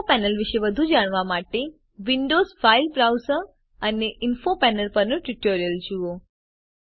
info panel વિશે વધુ જાણવા માટે વિન્ડોઝ ફાઇલ બ્રાઉઝર અને ઇન્ફો પેનલ પરનું ટ્યુટોરીયલ જુઓ